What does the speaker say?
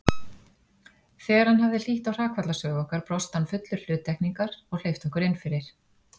Þegar hann hafði hlýtt á hrakfallasögu okkar brosti hann fullur hluttekningar og hleypti okkur innfyrir.